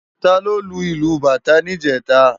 Táló ló lú ilú bátã nijètá?